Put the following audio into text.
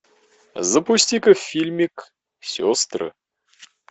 запусти ка фильмик сестры